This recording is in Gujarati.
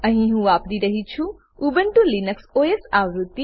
અહી હું વાપરી રહ્યી છું ઉબુન્ટુ લિનક્સ ઓએસ આવૃત્તિ